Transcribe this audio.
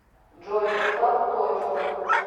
джой поставь точка